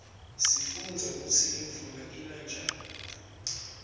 sifundza kutsi imvula ina njani